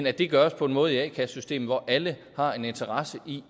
at det gøres på en måde i a kassesystemet hvor alle har en interesse i